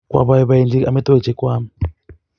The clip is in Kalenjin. Kwapoipoenji amitwogik che kwaam